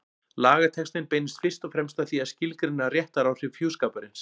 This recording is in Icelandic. Lagatextinn beinist fyrst og fremst að því að skilgreina réttaráhrif hjúskaparins.